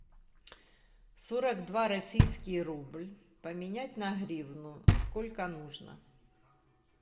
сорок два российский рубль поменять на гривну сколько нужно